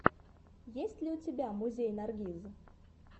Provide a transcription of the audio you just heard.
есть ли у тебя музей наргиз